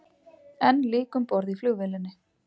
Enn lík um borð í flugvélinni